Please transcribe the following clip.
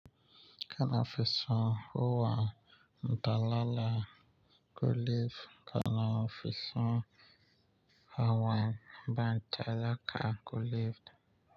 Kana fisun hawa, talala kulif kana fisun hawan bantalaka kulif.